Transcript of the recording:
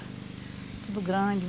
Tudo grande.